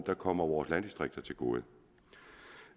der kommer vores landdistrikter til gode